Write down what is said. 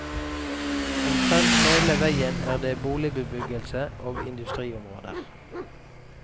Omtrent hele veien er det boligbebyggelse og industriområder.